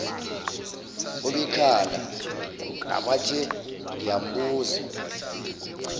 obekhala ngabathe ngiyambuza